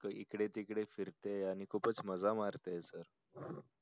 इकडे तिकडे फिरतेय आणि खूपच मजा मारतेय sir